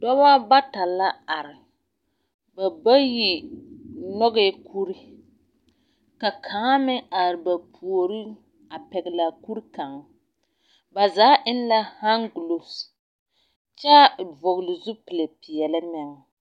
Dɔbɔ ba ta la are. Ba bayi nyɔgɛɛ kuri, ka kaŋa meŋ are ba puori a pɛgele a kuri kaŋ. Ba zaa eŋ la haŋguloof kyɛ vɔgele zupili peɛle meŋ.